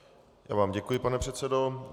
Já vám děkuji, pane předsedo.